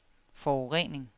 forurening